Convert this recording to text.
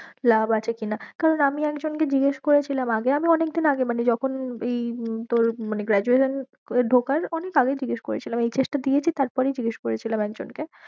লাভ আছে কি না কারণ আমি একজন কে জিজ্ঞেস করেছিলাম আগে আমি অনেকদিন আগে মানে যখন এই তোর মানে graduation এ ঢোকার অনেক আগে জিজ্ঞেস করেছিলাম HS টা দিয়েছি তার পরেই জিজ্ঞেস করেছিলাম একজন কে।